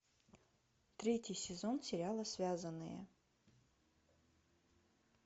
третий сезон сериала связанные